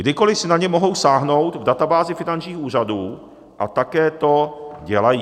Kdykoliv si na ně mohou sáhnout v databázi finančních úřadů a také to dělají.